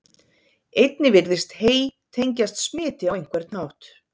Einnig virðist hey tengjast smiti á einhvern hátt.